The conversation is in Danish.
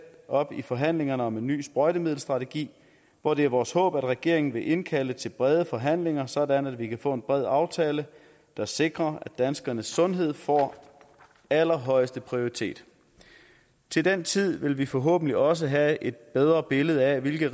op i forhandlingerne om en ny sprøjtemiddelstrategi hvor det er vores håb at regeringen vil indkalde til brede forhandlinger sådan at vi kan få en bred aftale der sikrer at danskernes sundhed får allerhøjeste prioritet til den tid vil vi forhåbentlig også have et bedre billede af hvilke